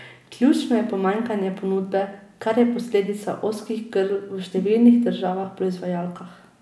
Ključno je pomanjkanje ponudbe, kar je posledica ozkih grl v številnih državah proizvajalkah.